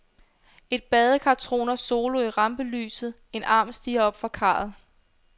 Et badekar troner solo i rampelyset, en arm stiger op fra karret.